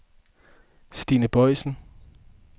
Stine Boisen